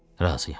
Razıyam.